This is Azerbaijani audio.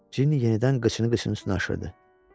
Cini yenidən qıçını qıcının üstünə aşırtdı.